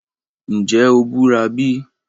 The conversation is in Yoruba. Nje o bura bi?